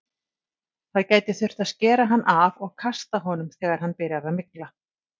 Það gæti þurft að skera hann af og kasta honum þegar hann byrjar að mygla.